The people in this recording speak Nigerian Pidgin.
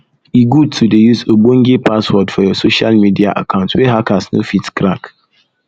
e good to dey use ogbonge password for your social media account wey hackers no fit crack